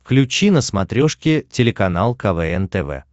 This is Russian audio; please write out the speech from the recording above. включи на смотрешке телеканал квн тв